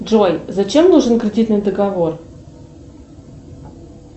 джой зачем нужен кредитный договор